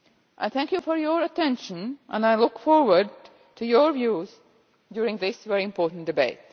I thank you for your attention and I look forward to your views during this very important debate.